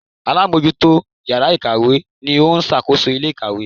Alámójútó yàrá ìkàwé ni ó sàkóso ilé ìkàwé